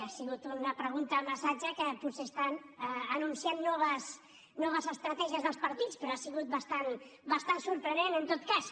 ha sigut una pregunta massatge que potser estan anunciant noves estratègies dels partits però ha sigut bastant sorprenent en tot cas